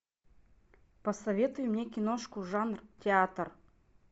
посоветуй мне киношку жанр театр